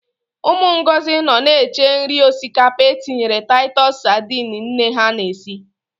Ụmụ Ngozi nọ na-eche nri osikapa e tinyere Taịtus sadini nne ha na-esi.